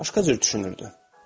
Başqa cür düşünürdü.